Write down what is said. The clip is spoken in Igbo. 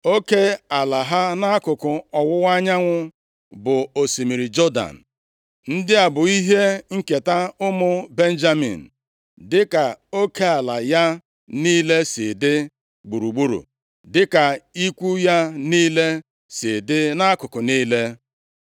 Oke ala ha nʼakụkụ ọwụwa anyanwụ bụ osimiri Jọdan. Ndị a bụ ihe nketa ụmụ Benjamin, dịka oke ala ya niile si dị gburugburu, dị ka ikwu ya niile si dị nʼakụkụ niile.